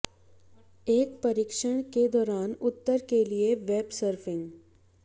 एक परीक्षण के दौरान उत्तर के लिए वेब सर्फिंग